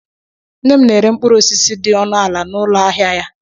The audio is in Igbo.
Nne m na-ere mkpụrụ osisi dị ọnụ ala n'ụlọ ahịa ya.